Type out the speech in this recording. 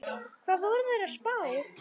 Hvað voru þeir að spá?